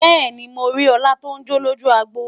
bẹẹni, mọ rí òla ton jọ lójú agbo